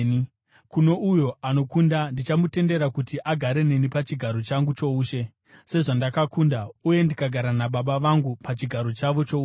Kuno uyo anokunda, ndichamutendera kuti agare neni pachigaro changu choushe, sezvandakakunda uye ndikagara naBaba vangu pachigaro chavo choushe.